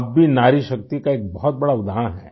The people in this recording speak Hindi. आप भी नारीशक्ति का एक बहुत बड़ा उदाहरण हैं